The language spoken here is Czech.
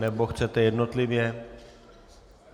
Nebo chcete jednotlivě?